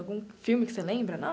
Algum filme que você lembra?